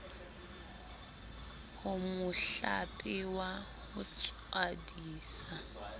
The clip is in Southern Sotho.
ho mohlape wa ho tswadisa